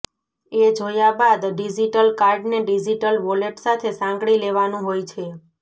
એ જોયા બાદ ડિજિટલ કાર્ડને ડિજિટલ વોલેટ સાથે સાંકળી લેવાનું હોય છે